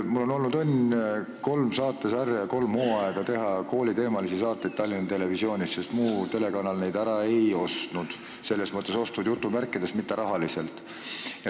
Mul on olnud õnn teha kolm saatesarja ja kolm hooaega kooliteemalisi saateid Tallinna Televisioonis, sest muu telekanal neid ära ei ostnud – selles mõttes "ostnud", et jutumärkides, mitte rahaliselt.